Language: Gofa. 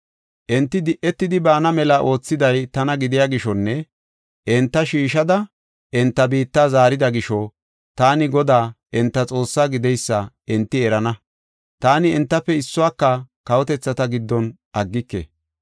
Enti di7etidi baana mela oothiday tana gidiya gishonne enta shiishada, enta biitta zaarida gisho, taani Godaa enta Xoossaa gideysa enti erana. Taani entafe issuwaka kawotethata giddon aggike.